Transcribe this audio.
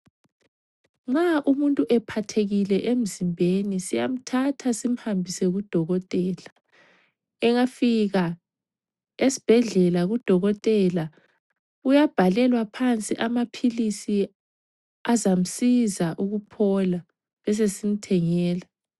Nxa umuntu ephathekile emzimbeni siyamthatha simhambise kudokotela. Engafika esibhedlela kudokotela uyabhalelwa phansi amaphilisi azamsiza ukuphola besesimthengela.